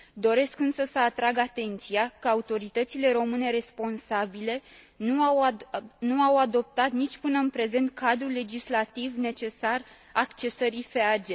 Doresc însă să atrag atenția că autoritățile române responsabile nu au adoptat nici până în prezent cadrul legislativ necesar accesării FEAG.